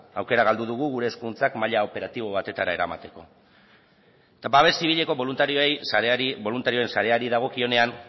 aukera galdu dugu gure eskuduntzak maila operatibo batetara eramateko eta babes zibileko boluntarioen sareari dagokionean